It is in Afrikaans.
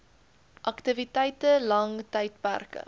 aktiwiteite lang tydperke